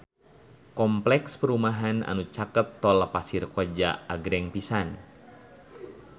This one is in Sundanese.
Kompleks perumahan anu caket Tol Pasir Koja agreng pisan